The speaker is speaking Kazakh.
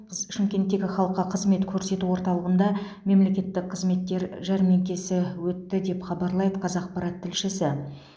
шымкенттегі халыққа қызмет көрсету орталығында мемлекеттік қызметтер жәрмеңкесі өтті деп хабарлайды қазақпарат тілшісі